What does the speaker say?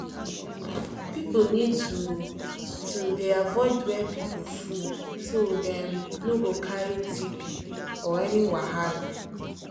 people need to to dey avoid where people full so dem no go carry tb or any wahala